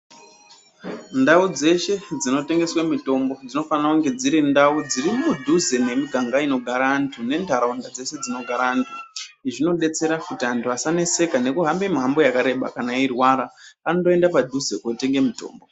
Ndau dzeshe dzinotengesa mitombo dzinofanire kunge dziri ndau dziri mudhuze nemiganga inogara antu nentaraunda dzese dzinogara antu izvi zvinodetsera antu kuti asahambe mihambo yakareba kana eirwara andoenda padhuze kotenga mitombo .